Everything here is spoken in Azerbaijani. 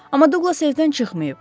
Amma Duqlas evdən çıxmayıb.